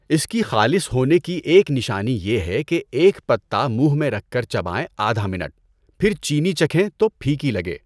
اس کی خالص ہونے کی ایک نشانی یہ ہے کہ ایک پتہ منہ میں رکھ کر چبائیں آدھ منٹ، پھر چینی چکھیں تو پھیکی لگے۔